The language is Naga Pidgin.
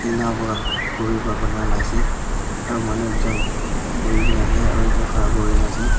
tinna para khuri para panala ka ase aro manu ekjon bohi kena ase ekjon khara kuri kena ase.